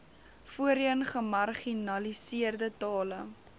voorheen gemarginaliseerde tale